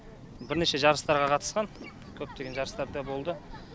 бірнеше жарыстарға қатысқан көптеген жарыстарда болды